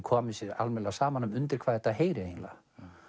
komið sér almennilega saman um undir hvað þetta heyri eiginlega